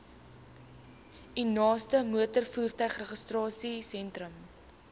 u naaste motorvoertuigregistrasiesentrum